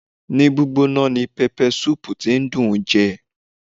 Ní gbígbóná ni pẹpẹsúùpù tí dùn ún jẹ.